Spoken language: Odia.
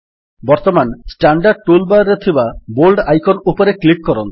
ବର୍ତ୍ତମାନ ଷ୍ଟାଣ୍ଡାର୍ଡ ଟୁଲ୍ ବାର୍ ରେ ଥିବା ବୋଲ୍ଡ ଆଇକନ୍ ଉପରେ କ୍ଲିକ୍ କରନ୍ତୁ